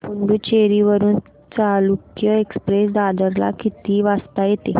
पुडूचेरी वरून चालुक्य एक्सप्रेस दादर ला किती वाजता येते